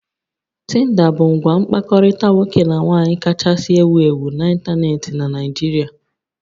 Tinder bụ ngwa mkpakọrịta nwoke na nwaanyị kachasị ewu ewu n'ịntanetị na Nigeria